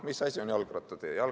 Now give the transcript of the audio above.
Mis asi on jalgrattatee?